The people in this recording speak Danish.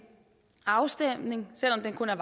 afstemning selv om den kun er